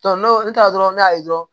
n'o ne taara dɔrɔn ne y'a ye dɔrɔn